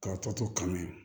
K'a tɔ to kaminɛ